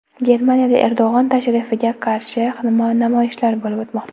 Germaniyada Erdo‘g‘on tashrifiga qarshi namoyishlar bo‘lib o‘tmoqda.